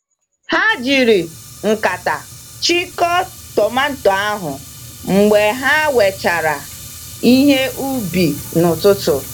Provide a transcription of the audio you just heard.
Ha jiri nkata chịko tomato ahụ mgbe ha wechara ihe ubi n'ụtụtụ.